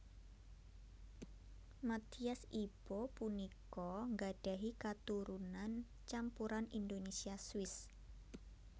Mathias Ibo punika nggadhahi katurunan campuran Indonesia Swiss